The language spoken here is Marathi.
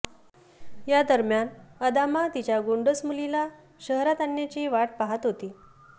यादरम्यान अदामा तिच्या गोंडस मुलीला शहरात आणण्याची वाट पाहत होती